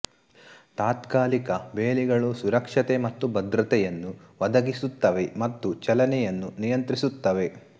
ತಾತ್ಕಾಲಿಕ ಬೇಲಿಗಳು ಸುರಕ್ಷತೆ ಮತ್ತು ಭದ್ರತೆಯನ್ನು ಒದಗಿಸುತ್ತವೆ ಮತ್ತು ಚಲನೆಯನ್ನು ನಿಯಂತ್ರಿಸುತ್ತವೆ